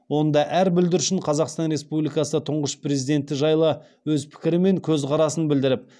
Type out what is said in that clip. онда әр бүлдіршін қазақстан республикасы тұңғыш президент жайлы өз пікірі мен көз қарасын білдіріп